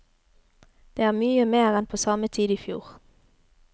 Det er mye mer enn på samme tid i fjor.